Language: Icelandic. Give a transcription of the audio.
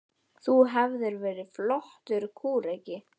Þú hefðir verið flottur kúreki.